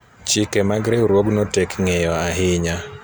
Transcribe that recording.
chike mag riwruogno tek ng'eyo ahinya